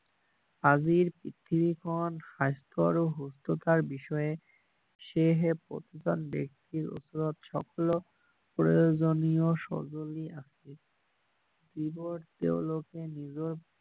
আজিৰ পৃথিৱী খন স্বাস্থ্য আৰু সুস্থ তাৰ বিষয়ে সেইহে প্ৰতিজন ব্যক্তিৰ ওচৰত সকলো প্ৰয়োজনীয় সঁজুলি আছে সেইবোৰ তেওঁলোকে নিজৰ